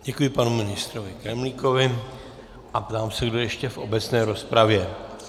Děkuji panu ministru Kremlíkovi a ptám se, kdo ještě v obecné rozpravě.